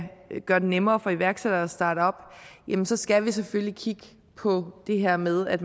gøre det nemmere for iværksættere at starte op jamen så skal vi selvfølgelig kigge på det her med at